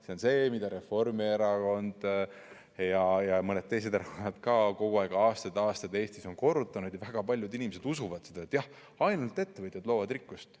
See on see, mida Reformierakond ja mõned teised erakonnad ka kogu aeg, aastaid ja aastaid Eestis on korrutanud ja mida väga paljud inimesed usuvad: jah, ainult ettevõtjad loovad rikkust.